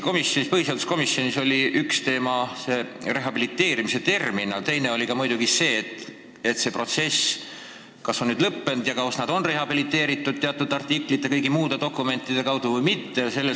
Tõesti, põhiseaduskomisjonis oli üks teema rehabiliteerimise termin, aga teine oli see, kas see protsess on nüüd lõppenud: kas vabadussõjalased on rehabiliteeritud sellesisuliste artiklite ja teatud dokumentide tutvustamise kaudu või mitte.